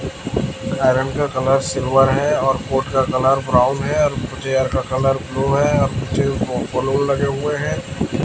Iron का colour silver है और कोट का कलर ब्राउन है और चेयर का कलर को ब्लू है और कुछ ब बलून लगे हुए है।